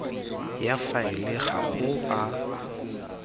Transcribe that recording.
ya faele ga go a